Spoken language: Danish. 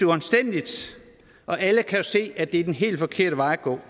uanstændigt og alle kan jo se at det er den helt forkerte vej at gå